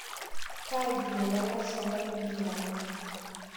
Karikito lalashelai nkiyama